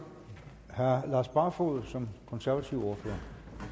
herre lars barfoed som konservativ ordfører